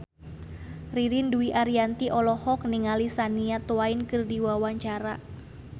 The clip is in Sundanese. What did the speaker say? Ririn Dwi Ariyanti olohok ningali Shania Twain keur diwawancara